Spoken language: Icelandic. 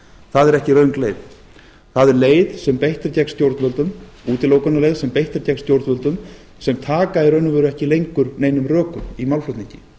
það er ekki röng leið það er útilokunarleið sem beitt er gegn stjórnvöldum sem taka í raun og veru ekki lengur neinum rökum í málflutningi